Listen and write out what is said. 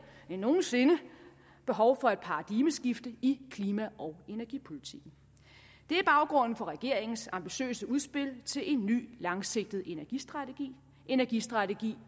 end nogen sinde behov for et paradigmeskifte i klima og energipolitikken det er baggrunden for regeringens ambitiøse udspil til en ny langsigtet energistrategi energistrategi